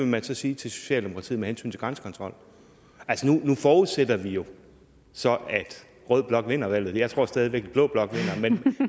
man så sige til socialdemokratiet med hensyn til grænsekontrol altså nu forudsætter vi jo så at rød blok vinder valget jeg tror stadig væk blå blok vinder